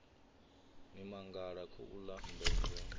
ni mangala khouḽa mmbengeni wa